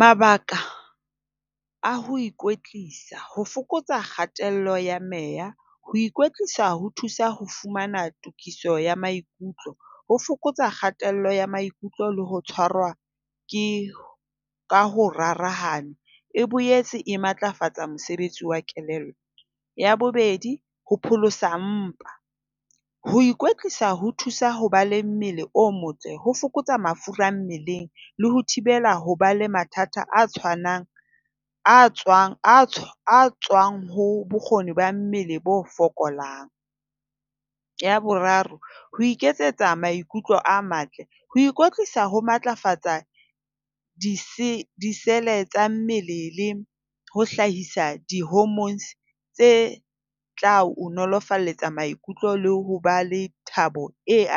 Mabaka a ho ikwetlisa. Ho fokotsa kgatello ya meya. Ho ikwetlisa ho thusa ho fumana tokiso ya maikutlo. Ho fokotsa kgatello ya maikutlo le ho tshwarwa ke ka ho rarahane. E boetse e matlafatsa mosebetsi wa kelello. Ya bobedi, ho pholosa mpa. Ho ikwetlisa ho thusa ho ba le mmele o motle. Ho fokotsa mafura mmeleng le ho thibela ho ba le mathata a tshwanang a tswang tswang ho bokgoni ba mmele bo fokolang. Ya boraro, ho iketsetsa maikutlo a matle. Ho ikwetlisa ho matlafatsa di-cell tsa mmele le ho hlahisa di-homornes tse tla o nolofalletsa maikutlo le ho ba le thabo e